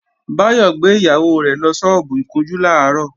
Báyọ̀ gbé ìyàwó rẹ̀ lọ sọ́ọ́bù ìkunjú làárọ̀